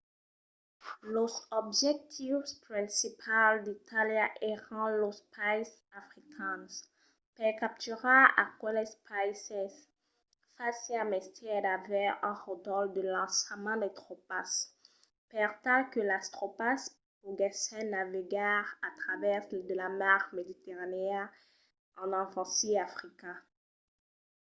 los objectius principals d’itàlia èran los païses africans. per capturar aqueles païses fasiá mestièr d’aver un ròdol de lançament de tropas per tal que las tropas poguèssen navegar a travèrs de la mar mediterranèa e envasir africa